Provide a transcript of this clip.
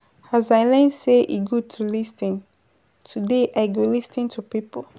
As I learn sey e good to lis ten, today I go lis ten to pipo.